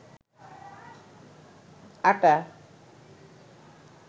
আটা